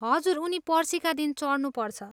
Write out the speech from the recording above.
हजुर, उनी पर्सीका दिन चढ्नुपर्छ।